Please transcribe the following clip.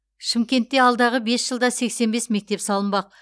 шымкентте алдағы бес жылда сексен бес мектеп салынбақ